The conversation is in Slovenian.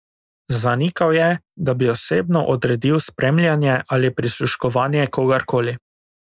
Zanikal je, da bi osebno odredil spremljanje ali prisluškovanje kogar koli.